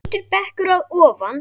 Hvítur bekkur að ofan.